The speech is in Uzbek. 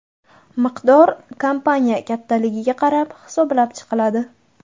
Miqdor kompaniya kattaligiga qarab hisoblab chiqiladi.